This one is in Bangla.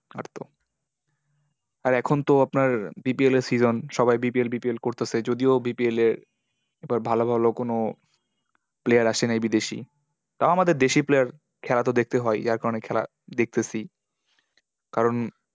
আর এখন তো আপনার BPL এর season সবাই BPLBPL করতাসে। যদিও BPL এ এবার ভালো ভালো কোনো player আসে নাই বিদেশি। তা আমাদের দেশি player খেলা তো দেখতে হয় আর কি। যার কারণে খেলা দেখতেসি। কারণ,